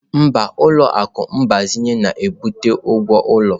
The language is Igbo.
Mba, ụlọ akụ mgbazinye na-ebute okwu ụlọ.